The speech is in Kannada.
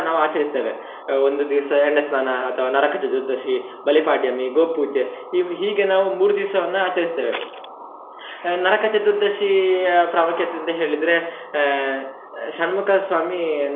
ನಾವು ಆಚರಿಸ್ತೇವೆ ಒಂದು ದಿವ್ಸ ಎಣ್ಣೆ ಸ್ನಾನ ಅಥವಾ ನರಕ ಚತುರ್ದಶಿ, ಬಲಿಪಾಡ್ಯಮಿ, ಗೋಪೂಜೆ, ಹೀಗೆ ನಾವು ಮೂರು ದಿವ್ಸವನ್ನ ಆಚರಿಸ್ತೇವೆ. ನರಕ ಚತುರ್ದಶಿ ಆ ಪ್ರಾಮುಖ್ಯತೆ ಅಂತ ಹೇಳಿದ್ರೆ ಆಹ್ ಶಣ್ಮುಖ ಸ್ವಾಮಿ.